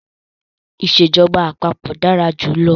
Ìsèjọba àpapọ̀ dára jù lọ.